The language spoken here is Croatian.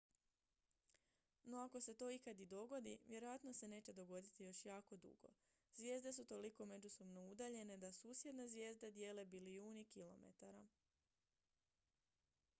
"no ako se to ikad i dogodi vjerojatno se neće dogoditi još jako dugo. zvijezde su toliko međusobno udaljene da "susjedne" zvijezde dijele bilijuni kilometara.